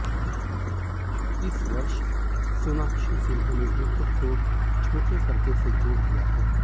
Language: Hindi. इस वर्ष सोनाक्षी सिन्हा ने भी खुद को छोटे पर्दे से जोड़ लिया है